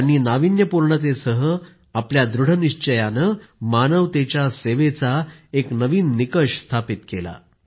त्यांनी नाविन्यपूर्णतेसह आपल्या दृढ निश्चयानं मानवतेच्या सेवेचा एक नवीन निकष स्थापित केला